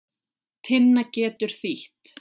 Tinna getur þýtt